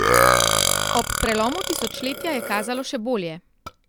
Ob prelomu tisočletja je kazalo še bolje.